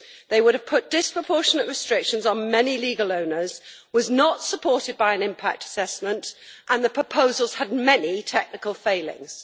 It would have put disproportionate restrictions on many legal owners, it was not supported by an impact assessment, and the proposals had many technical failings.